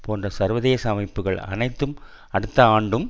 போன்ற சர்வதேச அமைப்புக்கள் அனைத்தும் அடுத்த ஆண்டும்